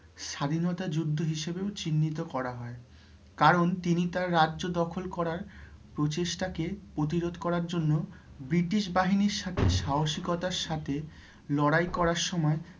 স্বাধীনতা যুদ্ধ হিসেবেও চিহ্নিত করা হয়ে কারণ তিনি তাঁর রাজ্য দখল করার প্রচেষ্টা কে প্রতিরোধ করার জন্য British বাহিনীর সাথে সাহসিকতার সাথে লড়াই করার সময়